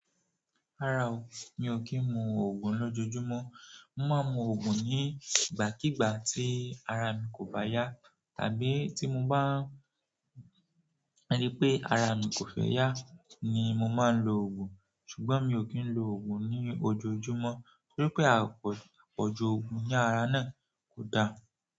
Rárá o, mi ò kí ń mu òògùn lójoojúmọ́. Mo máa ń mu òògùn nígbàkígbà tí ara mi kò bá yá tàbí tí mo bá ri pé ara mi kò fẹ́ yá ni mo máa ń lo òògùn. Ṣùgbọ́n mi ò kí ń lo òògùn ní ojoojúmọ́ torí pé àpọ̀jù òògùn ní ara náà kò da.